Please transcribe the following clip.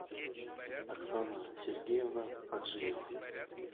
оксана сергеевна аджиева